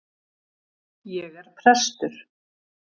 Ég er prestur.